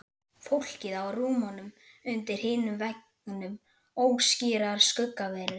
Fólkið á rúmunum undir hinum veggnum óskýrar skuggaverur.